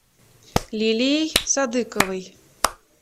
лилией садыковой